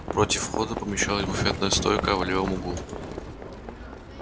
против входа помещалась буфетная стойка а в левом углу